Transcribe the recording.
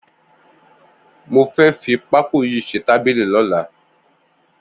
Mó fẹ̀ fi pákó yi ṣé tàbílì lọ̀lá